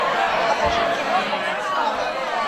покажи кино конец тура